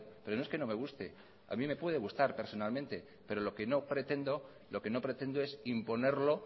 pero no es que no me guste a mí me puede gustar personalmente pero lo que no pretendo es imponerlo